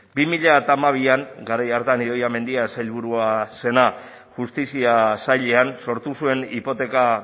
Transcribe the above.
bi mila hamabian garai hartan idoia mendia sailburua zenak justizia sailean sortu zuen hipoteka